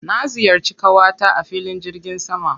Na ziyarci ƙawata a filin jirgin sama.